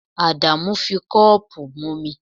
Adamu fi cup mu omi